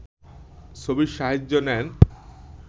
ছবির সাহায্য নেন